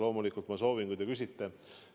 Loomulikult ma soovin, kui te küsite.